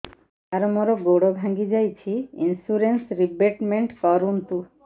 ସାର ମୋର ଗୋଡ ଭାଙ୍ଗି ଯାଇଛି ଇନ୍ସୁରେନ୍ସ ରିବେଟମେଣ୍ଟ କରୁନ୍ତୁ